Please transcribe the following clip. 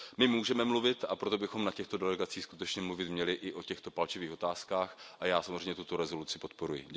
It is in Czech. My můžeme mluvit, a proto bychom na těchto delegacích skutečně mluvit měli i o těchto palčivých otázkách a já samozřejmě tuto rezoluci podporuji.